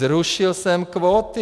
Zrušil jsem kvóty.